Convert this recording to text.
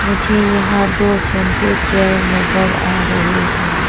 मुझे यहां दो शैंपू चेयर नजर आ रहे हैं।